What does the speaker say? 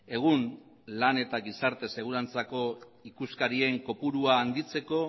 egun lan eta gizarte segurantzako ikuskarien kopurua handitzeko